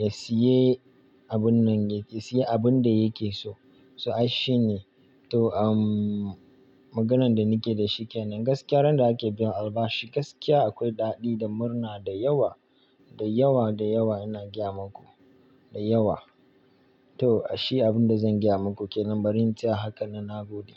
ya siye abun nan, ya siye abun da yake so. So aishi ne. To umm maganan da ni ke da shi kenan gaskiya ran da ake biyan albashi gaskiya akwai daɗi da murna da yawa, da yawa, da yawa ina gayama ku, da yawa. To ashe abin da zan gayama ku kenan bari in tsaya haka nan na gode.